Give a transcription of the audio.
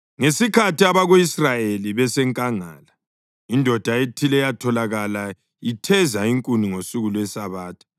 Ngesikhathi abako-Israyeli besenkangala, indoda ethile yatholakala itheza inkuni ngosuku lweSabatha.